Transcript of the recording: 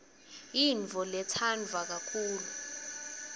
yintfo letsandvwa kakhulu